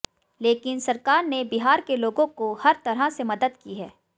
लेकिन सरकार ने बिहार के लोगों को हर तरह से मदद की है